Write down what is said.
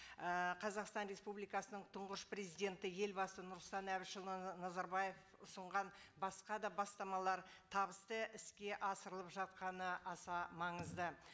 і қазақстан республикасының тұңғыш президенті елбасы нұрсұлтан әбішұлы назарбаев ұсынған басқа да бастамалар табысты іске асырылып жатқаны аса маңызды